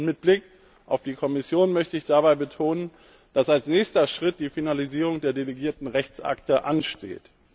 Und mit Blick auf die Kommission möchte ich dabei betonen, dass als nächster Schritt die Finalisierung der delegierten Rechtsakte ansteht.